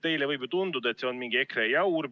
Teile võib ju tunduda, et see on mingi EKRE jaur.